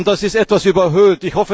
Das ist etwas überhöht.